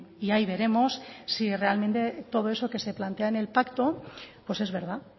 y ahí veremos si realmente todo eso que se plantea en el pacto pues es verdad